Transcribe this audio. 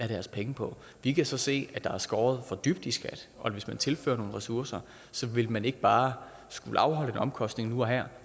deres penge på vi kan så se at der er skåret for dybt i skat og at hvis man tilfører nogle ressourcer ville man ikke bare skulle afholde en omkostning nu og her